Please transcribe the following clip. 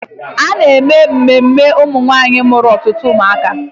A na-eme emume ụmụnwaanyị mụrụ ọtụtụ ụmụaka.